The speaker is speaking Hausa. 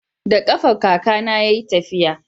da kafa kaka na ya yi tafiya